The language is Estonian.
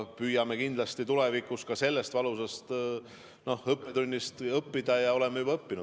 Püüame kindlasti tulevikus ka sellest valusast õppetunnist õppida ja oleme juba õppinud.